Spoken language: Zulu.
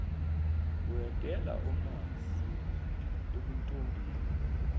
uyadela omazi ebuntombini